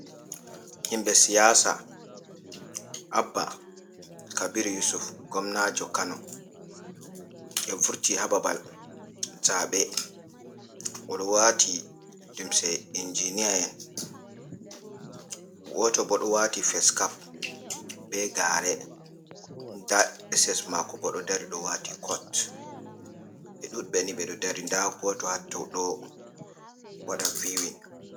Himɓɓe siyasa abba kabir yusuf gomnajo kano, ɓe vurti ha babal zaɓe oɗo wati lumse injinieen, goto bo ɗo wati fes cap be gare, nda ses mako bo ɗo dari ɗo wati cot, ɓe ɗuɗ ɓe ni, ɓe ɗo dari nda goto ha tou ɗo waɗa viwin.